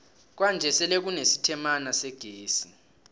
kwanje sele kune sitemala segezi